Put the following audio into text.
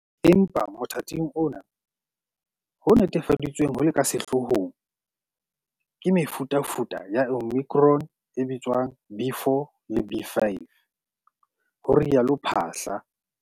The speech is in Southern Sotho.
"Empa motha ting ona, ho netefaditsweng ho le ka sehloohong ke mefutafuta ya Omicron e bitswang B.4 le B.5," ho rialo Phaahla.